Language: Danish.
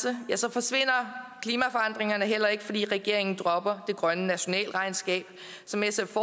forsvinder klimaforandringerne heller ikke fordi regeringen dropper det grønne nationalregnskab som sf